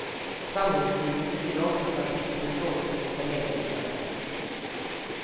Samlingsskivor betyder ofta att artisten i fråga tagit en längre semester.